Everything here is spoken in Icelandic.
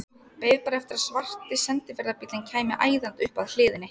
Beið bara eftir að svarti sendiferðabíllinn kæmi æðandi upp að hliðinni.